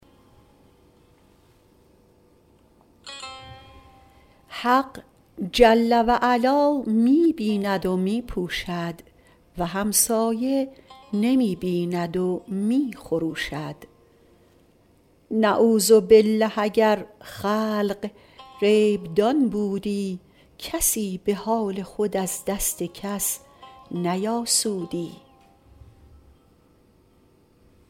حق جل و علا می بیند و می پوشد و همسایه نمی بیند و می خروشد نعوذبالله اگر خلق غیب دان بودی کسی به حال خود از دست کس نیاسودی